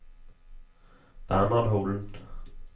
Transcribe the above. Bernhard Holen